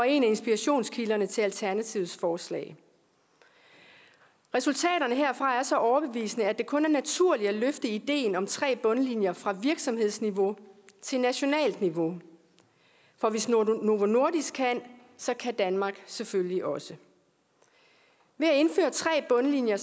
en af inspirationskilderne til alternativets forslag resultaterne herfra er så overbevisende at det kun er naturligt at løfte ideen om tre bundlinjer fra virksomhedsniveau til nationalt niveau for hvis novo nordisk kan så kan danmark selvfølgelig også ved at indføre tre bundlinjer